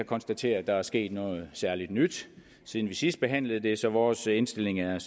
konstatere at der er sket noget særlig nyt siden vi sidst behandlede det så vores indstilling er